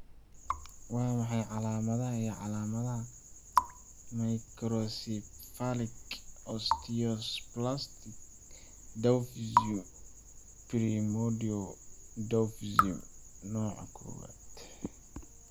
Waa maxay calaamadaha iyo calaamadaha Microcephalic osteodysplastic dwarfism primordial dwarfism nooca kowaad?